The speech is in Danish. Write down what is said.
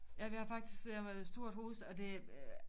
Ja vi har faktisk et stort hus og det